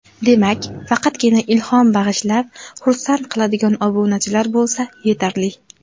Demak, faqatgina ilhom bag‘ishlab, xursand qiladigan obunachilar bo‘lsa yetarli.